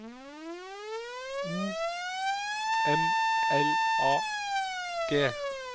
O M L A G